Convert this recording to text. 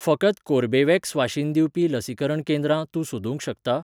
फकत कोर्बेवॅक्स वाशीन दिवपी लसीकरण केंद्रां तूं सोदूंक शकता?